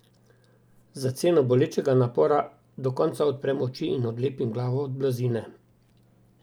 Za ceno bolečega napora do konca odprem oči in odlepim glavo od blazine.